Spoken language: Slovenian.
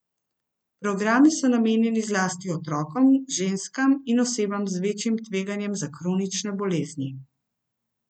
Programi so namenjeni zlasti otrokom, ženskam in osebam z večjim tveganjem za kronične bolezni.